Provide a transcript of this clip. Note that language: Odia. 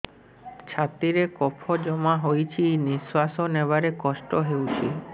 ଛାତିରେ କଫ ଜମା ହୋଇଛି ନିଶ୍ୱାସ ନେବାରେ କଷ୍ଟ ହେଉଛି